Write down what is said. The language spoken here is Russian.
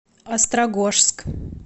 острогожск